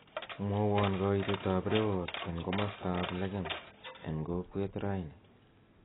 mwowon koitet ab rewot en komosto ab legem en kokwet raini